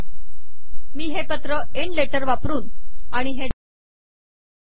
मी हे पत्र end letter वापरून आणि हे डॉक्युमेंट एण्ड डॉक्युमेंट या आज्ञा वापरून संपविले